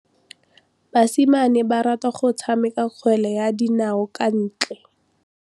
Basimane ba rata go tshameka kgwele ya dinaô kwa ntle.